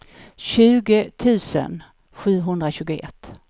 tjugo tusen sjuhundratjugoett